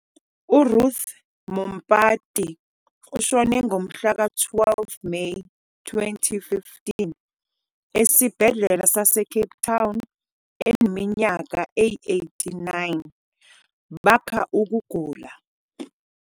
URuth Mompati ushone ngomhlaka 12 Meyi 2015 esibhedlela saseCape Town eneminyaka eyi-89, bakha ukugula.